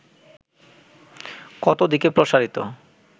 কত দিকে প্রসারিত